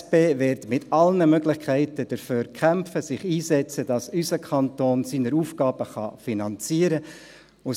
Die SP wird mit allen Möglichkeiten dafür kämpfen und sich einsetzen, dass unser Kanton seine Aufgaben finanzieren kann.